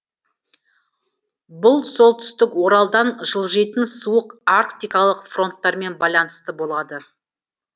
бұл солтүстік оралдан жылжыйтын суық арктикалық фронттармен байланысты болады